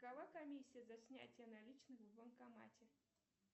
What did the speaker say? какова комиссия за снятие наличных в банкомате